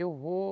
Eu vou...